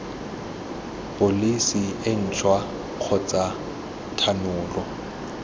pholesi e ntšhwa kgotsa thanolo